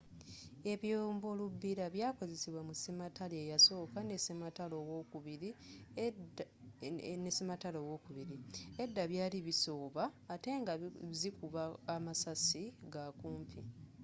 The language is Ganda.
ebyombo lubbira byakozesebwa mu sematalo eyasooka ne sematalo owokubiri edda byali bisooba ate nga zi kuba amasasi ga kumpi